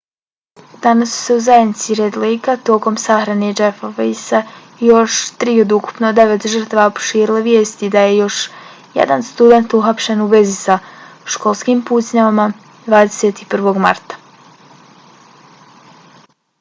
danas su se u zajednici red lejka tokom sahrane jeffa weisea i još tri od ukupno devet žrtava proširile vijesti da je još jedan student uhapšen u vezi sa školskim pucnjavama 21. marta